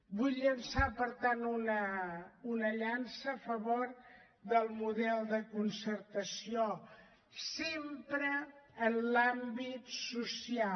vull llançar per tant una llança a favor del model de concertació sempre en l’àmbit social